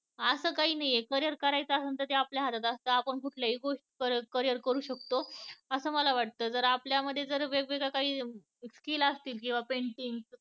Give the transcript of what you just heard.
असं काही नाहीये career करायच असेल तर ते आपल्या हातात असत आपण कुठल्याही गोष्टी मध्ये career करू शकतो. असं मला वाटत जर आपल्या मध्ये जर काही वेगळे skill असतील किंवा painting